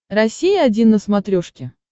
россия один на смотрешке